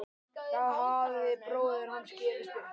Þá hafði bróðir hans gefist upp.